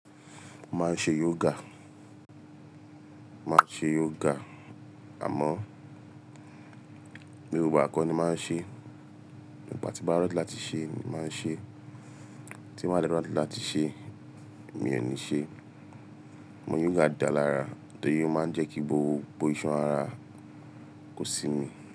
Máa n ṣe yoga, má ṣe yoga àmọ́, gbogbo igba ko ni mo ma ń ṣe. Gba tí bá ready láti ṣe, màá ṣe, tí wọ́n bá lè ready láti ṣe, mi ò ní ṣe. Mọ yoga dá lára, tọ́yẹ máa ń jẹ́ kí gbogbo ìṣàn ara kó sí mi.